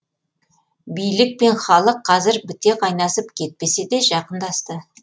билік пен халық қазір біте қайнасып кетпесе де жақындасты